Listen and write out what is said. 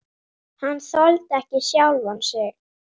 Hann þoldi ekki sjálfan sig.